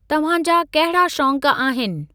तव्हांजा कहिड़ा शौंक़ आहिनि?